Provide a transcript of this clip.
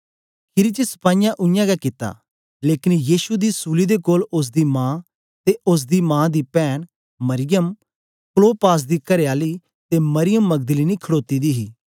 खीरी च सपाईयें उयांगै कित्ता लेकन यीशु दी सूली दे कोल ओसदी मा ते ओसदी मा दी पैन मरियम क्लोपास दी करेआली ते मरियम मगदलीनी खडोती दी ही